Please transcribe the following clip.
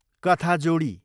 कथाजोडी